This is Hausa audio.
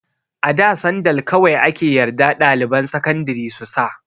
A da sandal kawai ake yarda ɗaliban sakandari su sa.